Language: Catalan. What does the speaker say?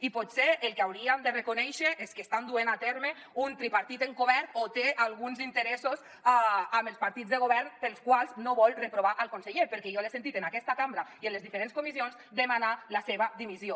i potser el que hauríem de reconèixer és que estan duent a terme un tripartit encobert o té alguns interessos amb els partits de govern pels quals no vol reprovar el conseller perquè jo l’he sentit en aquesta cambra i en les diferents comissions demanar la seva dimissió